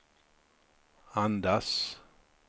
andas